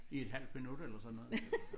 I et halvt minut eller sådan noget